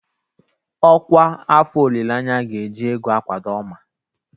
Ọkwa afọ olileanya ga-eji ego akwado Oma.